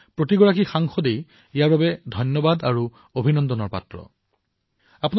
এই কথা মই এইবাবেই কৈছো কিয়নো সকলো সাংসদ অভিনন্দনৰ পাত্ৰ অভিনন্দনৰ অধিকাৰী